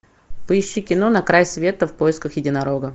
поищи кино на край света в поисках единорога